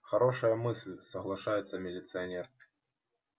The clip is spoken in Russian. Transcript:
хорошая мысль соглашается милиционер